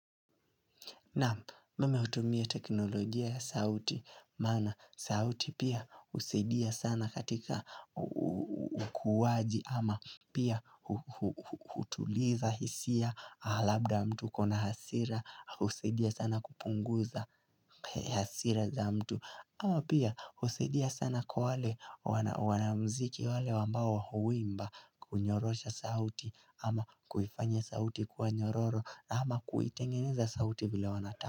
Naam nimeutumia teknolojia ya sauti maana sauti pia husaidia sana katika ukuwaji ama pia hutuliza hisia labda mtu akona hasira husaidia sana kupunguza hasira za mtu ama pia husaidia sana kwa wale wanamuziki wale wambao huimba kunyorosha sauti ama kufanya sauti ikuwe nyororo ama kuitengeneza sauti vile wanataka.